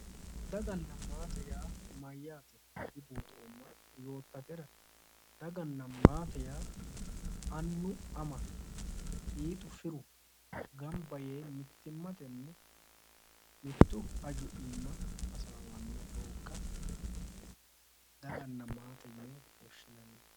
Daganna maate mayyaate dibuuxoomma yoottatera, daganna maate yaa annu ama fiixu firu gamba yee mitimmatenni mittu hajo aana hasaawanno doogga daganna maate yine woshinanni.